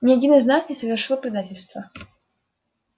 ни один из нас не совершил предательства